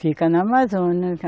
Fica na Amazônia.